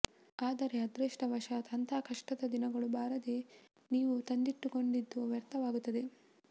ಆದರೆ ಅದೃಷ್ಟವಶಾತ್ ಅಂಥಾ ಕಷ್ಟದ ದಿನಗಳು ಬಾರದೇ ನೀವು ತಂದಿಟ್ಟುಕೊಂಡಿದ್ದು ವ್ಯರ್ಥವಾಗುತ್ತದೆ